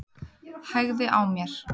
Hægði á mér.